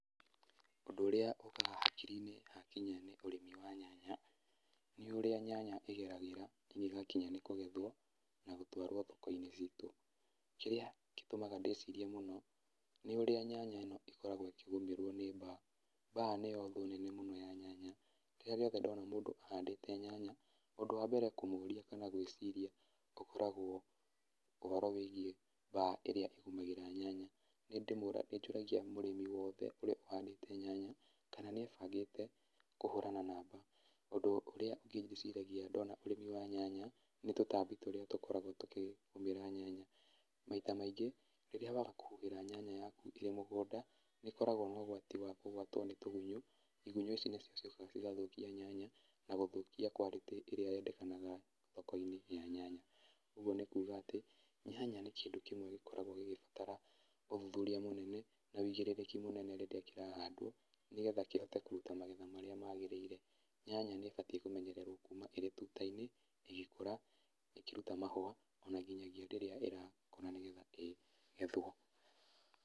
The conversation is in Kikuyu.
Ũndũ ũrĩa ũkaga hakiri-inĩ hakinya nĩ ũrĩmi wa nyanya, nĩ ũrĩa nyanya ĩgeragĩra ĩngĩgakinya nĩ kũgethwo, na gũtwarwo thoko-inĩ citũ. Kĩrĩa gĩtũmaga ndĩcirie mũno, nĩ ũrĩa nyanya ĩno ĩkoragwo ĩkĩgũmĩrwo nĩ mbaa. Mbaa nĩyo thũ nene mũno ya nyanya, rĩrĩa riothe ndona mũndũ ahandĩte nyanya, ũndũ wa mbere kũmũria, kana gwĩciria, ũkoragawo ũhoro wĩgiĩ mbaa ĩrĩa ĩgũmagra nyanya, nĩ ndĩmũragia, nĩ njũragia mũrĩmi wothe ũrĩa ũhandĩte nyanya, kana nĩ ebangĩte kũhũrana na mbaa. Ũndũ ũrĩa ũngĩ ndĩciragia ndona ũrĩmi wa nyanya, nĩ tũtambi tũrĩa tũkoragwo tũkĩgũmĩra nyanya. Maita maingĩ, rĩrĩa waga kũhuhĩra nyanya yaku ĩrĩ mũgũnda, nĩkoragwo na ũgwati wa kũgwatwo nĩ tũgunyo, igunyo ici nĩcio ciũkaga cigathũkia nyanya, na gũthũkia quality ĩrĩa yendekanaga thoko-inĩ ya nyanya. Ũguo nĩ kuga atĩ, nyanya nĩ kĩndũ kĩmwe gĩkoragwo gĩgĩbatara ũthuthuria mũnene, na wĩigĩrĩrĩki mũnene rĩrĩa kĩrahandwo, nĩgetha kĩhote kũruta magetha marĩa magĩrĩire. Nyanya nĩ ĩbatiĩ kũmenyererwo kũma ĩrĩ tuta-inĩ, ĩgĩkũra, ĩkĩruta mahũa, ona nginyagia rĩrĩa ĩrakũra nĩgetha ĩgethwo.